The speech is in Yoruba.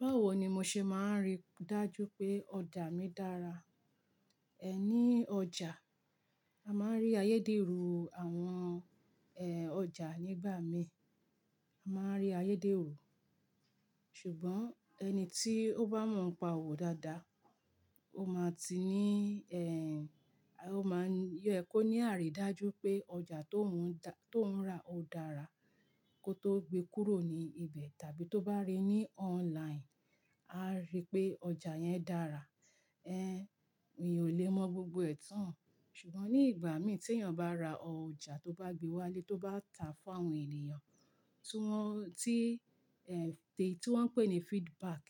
Báwo ni mo ṣe máa rí dájú pé ọjà mi dára? Ẹ ní ọjà, a máa rí ayédèrú àwọn, ẹ, ọjà nígbà mí. A máa rí ayédèrú, ṣùgbọ́n ẹni tí ó bá mọ̀ ọ̀pa ọ̀wọ̀ dáadáa, ó máa ti ní, ẹ, ó máa yẹ kó ní àrídájú pé ọjà tó ń, tó ń rà ó dára kó tó gbe kúrò ní ibẹ̀ tàbí tó bá rí ní online, a rí pé ọjà yẹn dára. Ẹ, èyàn ò lè mọ gbogbo ẹ̀ tán, ṣùgbọ́n ní ìgbà mí tí èèyàn bá ra ọjà tó bá gbé wálé tó bá tàá fún àwọn ènìyàn, tí wọ́n, tí, ẹ, tí wọ́n ń pè ní feedback